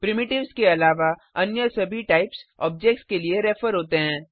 primitives के अलावा अन्य सभी टाइप्स ऑब्जेक्ट्स के लिए रेफर होते हैं